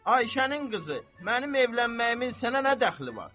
Ayşənin qızı, mənim evlənməyimin sənə nə dəxli var?